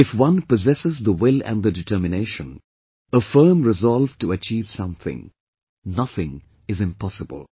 If one possesses the will & the determination, a firm resolve to achieve something, nothing is impossible